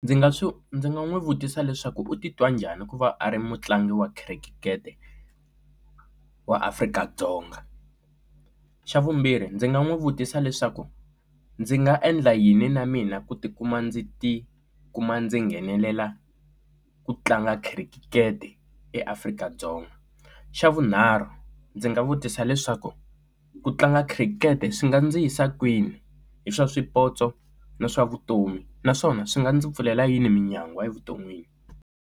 Ndzi nga swi ndzi nga n'wi vutisa leswaku u titwa njhani ku va a ri mutlangi wa khirikete wa Afrika-Dzonga, xa vumbirhi ndzi nga n'wi vutisa leswaku ndzi nga endla yini na mina ku tikuma ndzi ti kuma ndzi nghenelela ku tlanga khirikete eAfrika-Dzonga, xa vunharhu ndzi nga vutisa leswaku ku tlanga khirikete swi nga ndzi yisa kwini hi swa swipotso na swa vutomi naswona swi nga ndzi pfulela yini minyangwa evuton'wini.